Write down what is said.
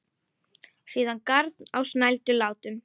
Síðan garn á snældu látum.